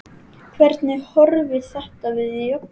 Hvernig horfir þetta við Jobba?